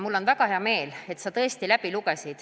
Mul on väga hea meel, et sa tõesti eelnõu läbi lugesid.